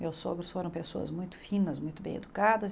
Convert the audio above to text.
Meus sogros foram pessoas muito finas, muito bem educadas.